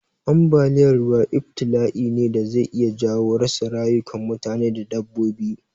Ambaliya ruwa ibtila'i ne da zai iya jawo rasa rayukan mutane da dabbobi.